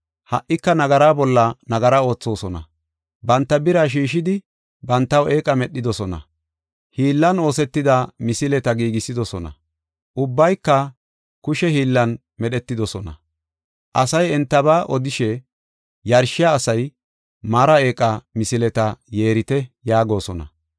Ha77ika nagara bolla nagara oothosona; banta bira sheeshidi bantaw eeqa medhidosona; hiillan oosetida misileta giigisidosona; ubbayka kushe hiillan medhetidosona. Asay entaba odishe, “Yarshiya asay mara eeqa misileta yeerite” yaagosona.